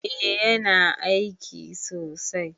Eh yana aiki sosai